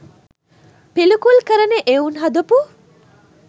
පිළිකුල් කරන එවුන් හදපු